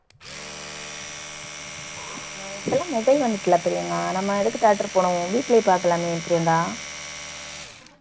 ஆஹ் இப்ப எல்லாம் mobile வந்துட்டல்ல பிரியங்கா நம்ம எதுக்கு theatre போகணும் வீட்டுலயே பாக்கலாமே பிரியங்கா